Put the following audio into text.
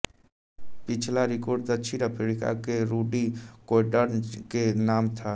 पिछला रिकॉर्ड दक्षिण अफ्रीका के रूडी कोएर्टजन के नाम था